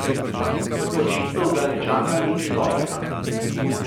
Očitno ga ne čaka nič dobrega.